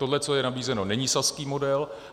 Tohle, co je nabízeno, není saský model.